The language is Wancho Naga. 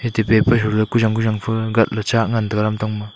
atte paper hu le ku zang ku zang pha gatla chak ngan taga lamtang ma.